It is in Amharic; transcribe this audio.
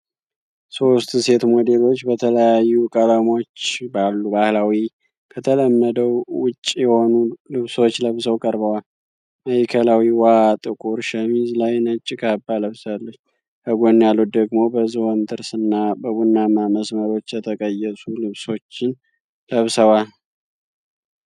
ሶስት ሴት ሞዴሎች በተለያዩ ቀለሞች ባሉ ባህላዊ፣ ከተለመደው ውጪ የሆኑ ልብሶች ለብሰው ቀርበዋል። ማዕከላዊዋ ጥቁር ሸሚዝ ላይ ነጭ ካባ ለብሳለች፣ ከጎን ያሉት ደግሞ በዝሆን ጥርስ እና በቡናማ መስመሮች የተቀየሱ ልብሶችን ለብሰዋል።